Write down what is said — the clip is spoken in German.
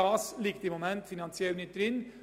Das liegt jedoch im Moment finanziell nicht drin.